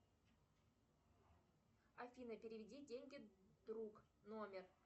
афина переведи деньги друг номер